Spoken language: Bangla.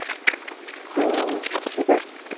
হুম, সেটাই।